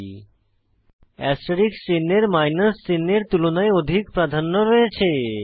এখানে অ্যাস্টেরিস্ক চিহ্ন এর মাইনাস চিহ্ন এর তুলনায় অধিক প্রাধন্য রয়েছে